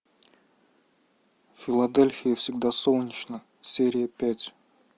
в филадельфии всегда солнечно серия пять